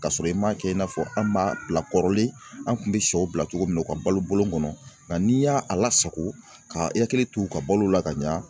Ka sɔrɔ i m'a kɛ i n'a fɔ an b'a bila kɔrɔlen an kun bɛ sɛw bila cogo min na u ka balo bɔlɔn kɔnɔ nka n'i y'a a lasago ka i hakili to u ka balo la ka ɲa